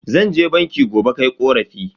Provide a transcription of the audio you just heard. Zan je banki gobe kai korafi.